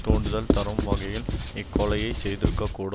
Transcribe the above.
தூண்டுதல் தரும் வகையில் இக்கொலையை செய்திருக்கக்கூடு